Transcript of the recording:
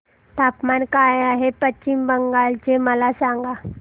तापमान काय आहे पश्चिम बंगाल चे मला सांगा